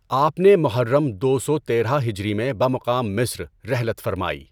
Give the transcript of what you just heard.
آپ نے محرم دو سو تیرہ ہجری میں بمقام مصر رحلت فرمائی۔